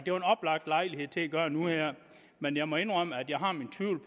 jo en oplagt lejlighed til at gøre nu her men jeg må indrømme at jeg har mine tvivl